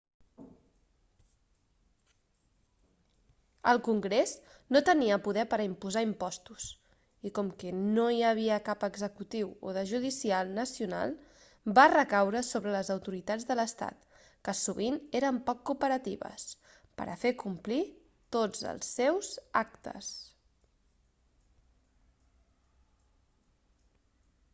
el congrés no tenia poder per a imposar impostos i com que no n'hi havia cap d'executiu o de judicial nacional va recaure sobre les autoritats de l'estat que sovint eren poc cooperatives per a fer complir tots els seus actes